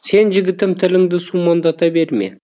сен жігітім тіліңді сумаңдата берме